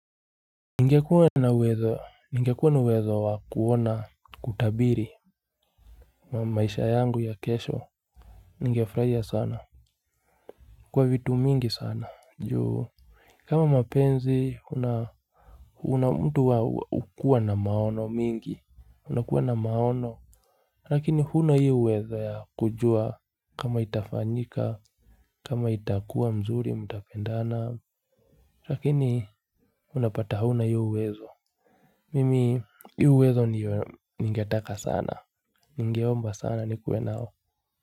Ningekuwa na uwezo wa kuona kutabiri maisha yangu ya kesho, ningefurahia sana, kwa vitu mingi sana, juu kama mapenzi, una mtu wa hukua na maono mingi, unakuwa na maono, lakini huna hio uwezo ya kujua kama itafanyika, kama itakuwa mzuri, mtapendana, lakini unapata hauna hiyo uwezo. Mimi, hiyo uwezo ningetaka sana, ningeomba sana nikuwe nao.